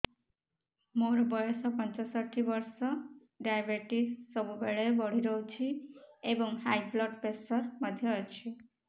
ମୋର ବୟସ ପଞ୍ଚଷଠି ବର୍ଷ ଡାଏବେଟିସ ସବୁବେଳେ ବଢି ରହୁଛି ଏବଂ ହାଇ ବ୍ଲଡ଼ ପ୍ରେସର ମଧ୍ୟ ଅଛି